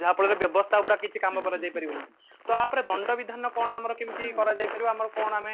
ଯାହାଫଳରେ ବ୍ୟବସ୍ତା ଉପରେ ଆଉ କିଛି କାମ କରାଯାଇ ପାରିବନି ତ ୟା ଉପରେ ଦଣ୍ଡ ବିଧାନ କଣ ଆମର କେମତି କରାଯାଇ ପାରିବ ଆମର କଣ ଆମେ